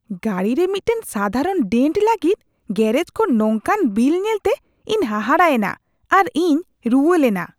ᱜᱟᱹᱰᱤᱨᱮ ᱢᱤᱫᱴᱟᱝ ᱥᱟᱫᱷᱟᱨᱚᱱ ᱰᱮᱱᱴ ᱞᱟᱹᱜᱤᱫ ᱜᱮᱨᱮᱡᱽ ᱠᱷᱚᱱ ᱱᱚᱝᱠᱟᱱ ᱵᱤᱞ ᱧᱮᱞᱛᱮ ᱤᱧ ᱦᱟᱦᱟᱲᱟ ᱮᱱᱟ ᱟᱨ ᱤᱧ ᱨᱩᱣᱟᱹ ᱞᱮᱱᱟ ᱾